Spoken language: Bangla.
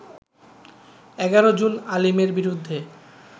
১১ জুন আলীমের বিরুদ্ধে